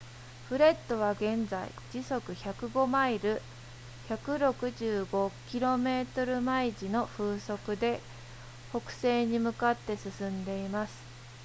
フレッドは現在時速105マイル 165km/h の風速で北西に向かって進んでいます